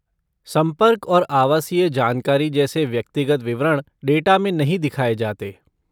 संपर्क और आवासीय जानकारी जैसे व्यक्तिगत विवरण डेटा में नहीं दिखाया जाता।